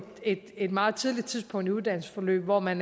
et et meget tidligt tidspunkt i uddannelsesforløbet hvor man